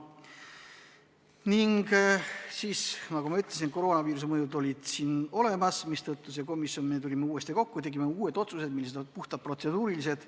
Aga nagu ma ütlesin, koroonaviiruse tõttu me tulime uuesti kokku, tegime uued otsused, mis olid puhtalt protseduurilised.